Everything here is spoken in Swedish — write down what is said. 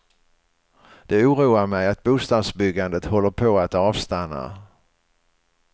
Det oroar mig att bostadsbyggandet håller på att avstanna.